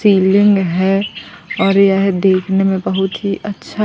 ceiling है और यह देखने में बहुत ही अच्छा--